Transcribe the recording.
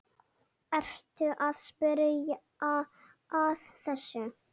Ertu að spyrja að þessu?